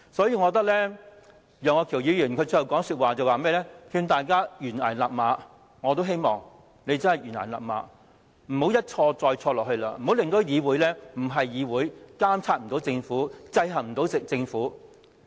楊岳橋議員發言最後一句是勸大家臨崖勒馬，我也希望他們臨崖勒馬，不要一錯再錯，不要令議會變成非議會，無法監察制衡政府。